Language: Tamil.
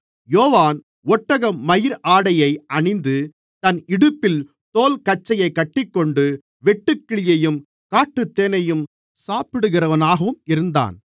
யோவான் ஒட்டகமயிர் ஆடையை அணிந்து தன் இடுப்பில் தோல் கச்சையைக் கட்டிக்கொண்டு வெட்டுக்கிளியையும் காட்டுத்தேனையும் சாப்பிடுகிறவனாகவும் இருந்தான்